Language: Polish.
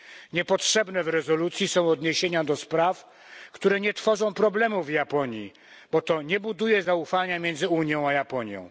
Niepotrzebne w rezolucji są odniesienia do spraw, które nie stanowią problemu w Japonii, bo to nie buduje zaufania między Unią a Japonią.